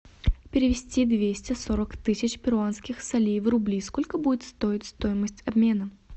перевести двести сорок тысяч перуанских солей в рубли сколько будет стоить стоимость обмена